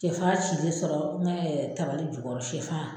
Sɛfan cilen sɔrɔ n ka tabali jukɔrɔ, sɛfan!